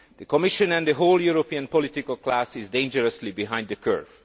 The Commission and the whole European political class is dangerously behind the curve.